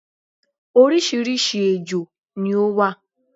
orísirísi ejò ni ó wà